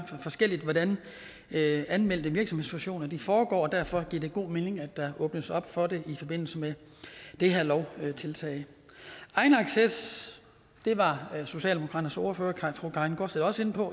forskelligt hvordan anmeldte virksomhedsfusioner foregår og derfor giver det god mening at der åbnes op for det i forbindelse med det her lovtiltag egenacces var socialdemokratiets ordfører fru karin gaardsted også inde på